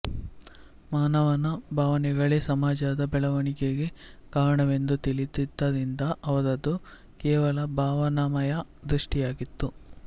ಮಾನವನ ಭಾವನೆಗಳೇ ಸಮಾಜದ ಬೆಳವಣಿಗೆಗೆ ಕಾರಣವೆಂದು ತಿಳಿದದ್ದರಿಂದ ಅವರದು ಕೇವಲ ಭಾವನಾಮಯ ದೃಷ್ಟಿಯಾಗಿತ್ತು